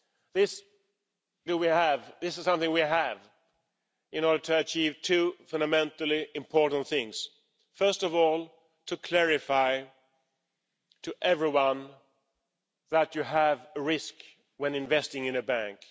This is something we have in order to achieve two fundamentally important things first of all to clarify to everyone that you have risk when investing in a bank.